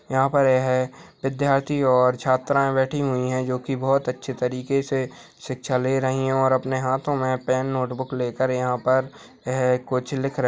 यहाँ पर यह विद्यार्थी और छात्राएँ बैठी हुई है जो की बहुत अच्छी तरीके से शिक्षा ले रही है और अपने हाथों में पेन नोटबुक लेकर यहाँ पर है कुछ लिख --